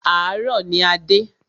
Àárọ̀ ní a dé.